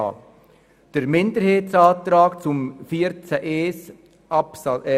Zum Minderheitsantrag zu Artikel 42 Absatz 1